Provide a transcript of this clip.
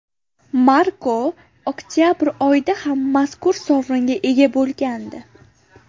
Marko oktabr oyida ham mazkur sovringa ega bo‘lgandi.